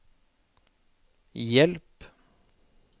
hjelp